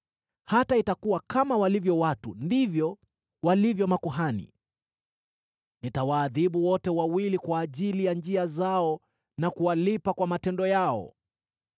Hata itakuwa: Kama walivyo watu, ndivyo walivyo makuhani. Nitawaadhibu wote wawili kwa ajili ya njia zao na kuwalipa kwa matendo yao.